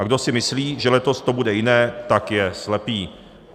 A kdo si myslí, že letos to bude jiné, tak je slepý.